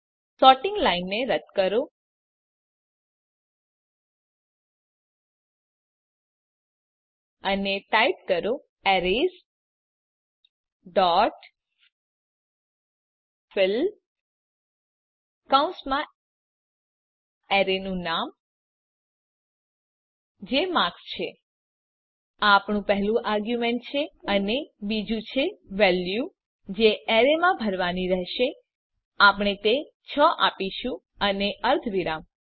sorting લાઈનને રદ્દ કરો અને ટાઈપ કરો એરેઝ ડોટ ફિલ કૌંસમાં એરેનું નામ જે માર્ક્સ છે આ આપણું પહેલું આર્ગ્યુમેંટ છે અને બીજુ છે વેલ્યુ જે એરેમાં ભરવાની રેહશે આપણે તે ૬ આપીશું અને અર્ધવિરામ